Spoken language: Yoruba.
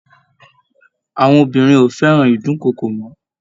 Àwọn obìnrin ò fẹ́ràn ìdúnkookò mọ́